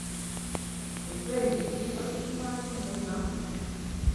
Ochei! Tos imwa kiy neuno